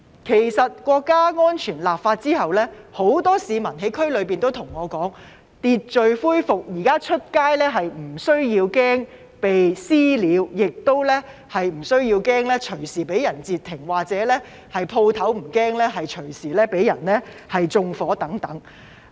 其實，《香港國安法》制定後，區內很多市民向我表示，秩序恢復，現在外出不用怕被"私了"或隨時被人截停，店鋪不用擔心隨時被人縱火等。